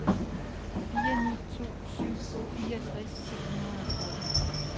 fire ni to syv fireogtres syv hundrede og tretten